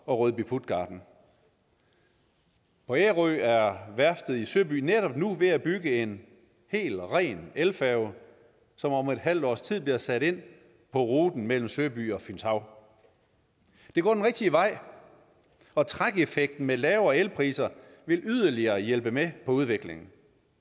og rødby puttgarten på ærø er værftet i søby netop nu ved at bygge en hel ren elfærge som om et halvt års tid bliver sat ind på ruten mellem søby og fynshav det går den rigtige vej og trækeffekten med lavere elpriser vil yderligere hjælpe med udviklingen